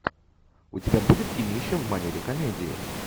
у тебя будет кинище в манере комедии